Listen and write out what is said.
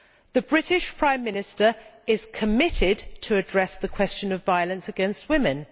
The British Prime Minister is committed to addressing the question of violence against women.